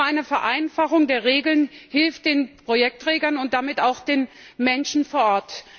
Denn nur eine Vereinfachung der Regeln hilft den Projektträgern und damit auch den Menschen vor Ort.